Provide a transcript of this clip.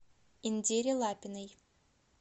индире лапиной